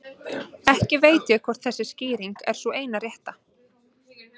Ekki veit ég hvort þessi skýring er sú eina rétta.